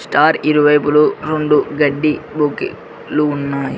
దారి ఇరువైపులు రెండు గడ్డి ఉన్నాయి.